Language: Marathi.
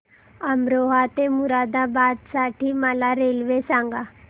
अमरोहा ते मुरादाबाद साठी मला रेल्वे सांगा